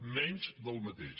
menys del mateix